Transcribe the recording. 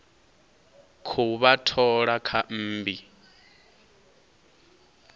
khou vha thola kha mmbi